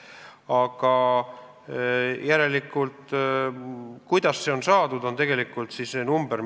Aga kuidas see vahemik on saadud?